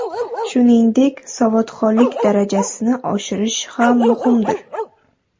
Shuningdek, savodxonlik darajasini oshirish ham muhimdir.